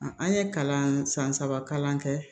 An ye kalan san saba kalan kɛ